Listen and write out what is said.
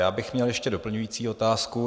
Já bych měl ještě doplňující otázku.